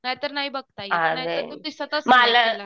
नाहीतर नाही बघता येत. नाहीतर दिसतच नाही आपल्याला